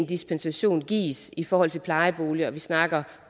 dispensationer gives i forhold til plejeboliger og vi snakker